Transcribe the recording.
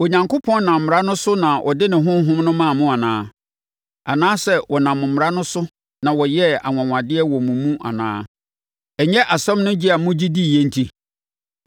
Onyankopɔn nam mmara no so na ɔde ne Honhom no maa mo anaa? Anaasɛ ɔnam mmara no so na ɔyɛɛ anwanwadeɛ wɔ mo mu anaa? Ɛnyɛ asɛm no gye a mogye diiɛ nti?